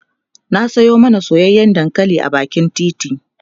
na Sayo mana soyayyan dankali a bakin titi